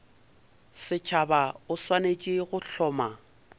setšhaba o swanetše go hloma